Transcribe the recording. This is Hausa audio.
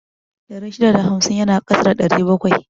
Ɗari shida da hamsin yana ƙasa da ɗari bakwai